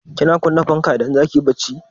Kina kunna fanka idan zaki yi barci?